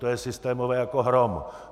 To je systémové jako hrom!